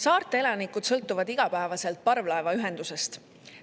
Saarte elanikud sõltuvad igapäevaselt parvlaevaühendusest.